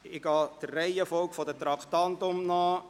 Ich gehe diese der Reihenfolge der Traktanden entsprechend durch.